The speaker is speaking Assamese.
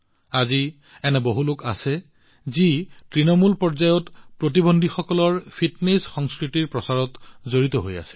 আজি এনে বহুলোক আছে যিয়ে তৃণমূল পৰ্যায়ত প্ৰতিবন্ধীসকলৰ মাজত ফিটনেছ সংস্কৃতিৰ প্ৰচাৰত নিয়োজিত হৈ আছে